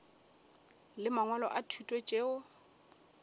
le mangwalo a thuto tšeo